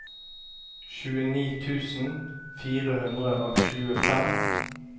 tjueni tusen fire hundre og tjuefem